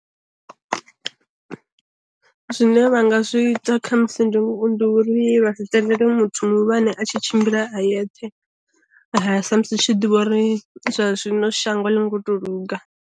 Zwine vha nga zwi ita khamusi ndi uri vha si tendele muthu muhulwane a tshi tshimbila a yeṱhe, sa musi tshi ḓivha uri zwa zwino shango a ḽi ngo to luga.